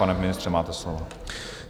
Pane ministře, máte slovo.